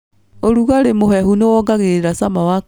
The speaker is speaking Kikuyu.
ũrugarĩ mũhehu nĩwongagĩrĩra cama wa karati.